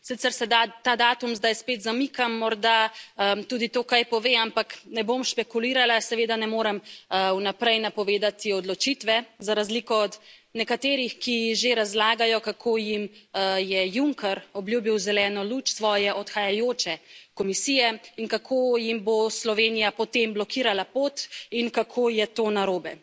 Sicer se ta datum zdaj spet zamika, morda tudi to kaj pove, ampak ne bom špekulirala, seveda ne morem vnaprej napovedati odločitve, za razliko od nekaterih, ki že razlagajo, kako jim je Juncker obljubil zeleno luč svoje odhajajoče Komisije in kako jim bo Slovenija potem blokirala pot in kako je to narobe.